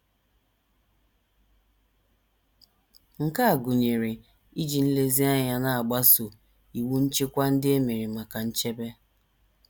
Nke a gụnyere iji nlezianya na - agbaso iwu nchịkwa ndị e mere maka nchebe.